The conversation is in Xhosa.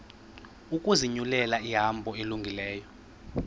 ukuzinyulela ihambo elungileyo